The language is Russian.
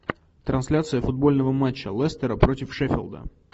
трансляция футбольного матча лестера против шеффилда